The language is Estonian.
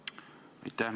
Aitäh!